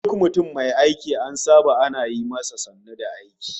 Duk mutum mai aiki an saba ana yi masa sannu da aiki